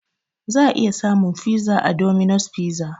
Za a iya samun fiza a 'Dominos Fiza'